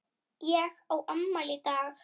Ég á afmæli í dag.